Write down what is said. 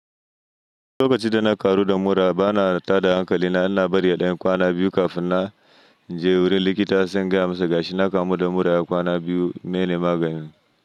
Lokacin da na karu da mura bana tada hankali na, ina bari ya ɗan kwana biyu kafin na je wurin likita. In je gaya ma su ga shi na kamu da mura ya kwana biyu, meye ne maganin.